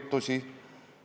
Me küsisime, mille pärast.